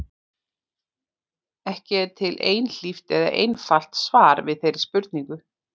Ekki er til einhlítt eða einfalt svar við þeirri spurningu.